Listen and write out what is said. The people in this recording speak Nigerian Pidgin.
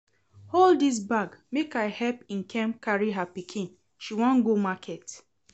Hold dis bag make I help Nkem carry her pikin, she wan go market